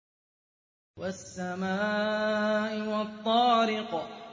وَالسَّمَاءِ وَالطَّارِقِ